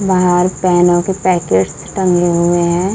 बाहर पेनों के पैकेट टंगे हुए हैं।